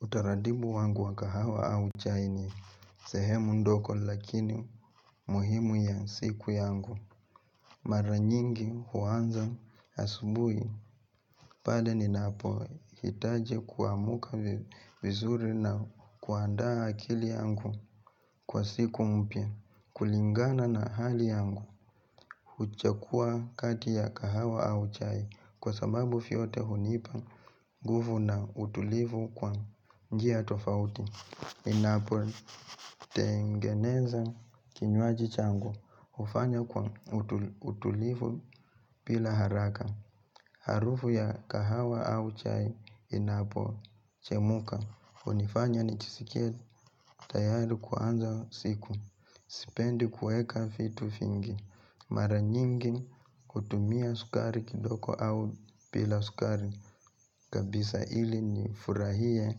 Utaratibu wangu wa kahawa au chai ni sehemu ndogo lakini muhimu ya siku yangu. Mara nyingi huanza asubuhi pale ninapohitaji kuamka vizuri na kuandaa akili yangu kwa siku mpya. Kulingana na hali yangu huchagua kati ya kahawa au chai kwa sababu vyote hunipa nguvu na utulivu kwa njia tofauti. Ninapotengeneza kinywaji changu hufanya kwa utulivu bila haraka Harufu ya kahawa au chai inapochemka hunifanya nijiskie tayari kuanza siku Sipendi kuweka vitu vingi, Mara nyingi hutumia sukari kidogo au bila sukari kabisa ili nifurahie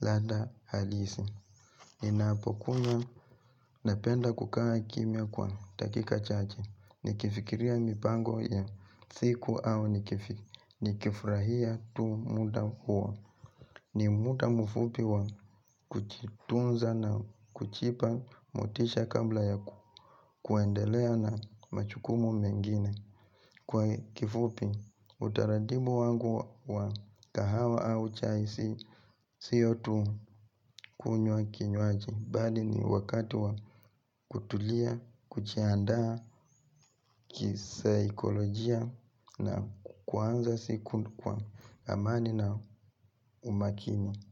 ladha halisi Ninapokunywa napenda kukaa kimya kwa dakika chache nikifikiria mipango ya siku au nikifurahia tu muda huo. Ni muda mfupi wa kujitunza na kujipa motisha kabla ya kuendelea na majukumu mengine. Kwa kifupi utaratibu wangu wa kahawa au chai si siyo tu kunywa kinywaji bali ni wakati wa kutulia, kujiandaa kisaikolojia na kuanza siku kwa amani na umakini.